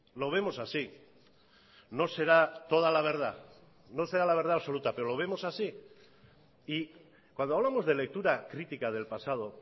lo vemos así no será toda la verdad no será la verdad absoluta pero lo vemos así y cuando hablamos de lectura crítica del pasado